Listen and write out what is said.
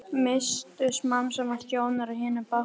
Misstu smám saman sjónar á hinum bát